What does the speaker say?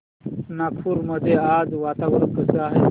नगर मध्ये आज वातावरण कसे आहे